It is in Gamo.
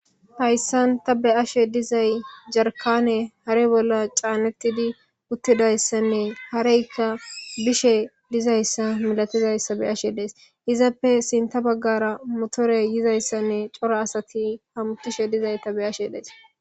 Hayissanni taa be'ashshe dizayi jarikaneyi hare bolla canettid uttidayisanne hareyikka bishshe dizayissa milatizayissa be'ashshe dayis.izzappe sinththa bagara motoreyi yizayissa nne cora asati hamutishshe dizayissa be'ashshe dayis.